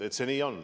Nii see on.